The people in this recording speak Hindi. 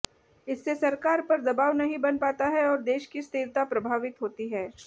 इससे सरकार पर दबाव नहीं बन पाता है और देश की स्थिरता प्रभावित होती है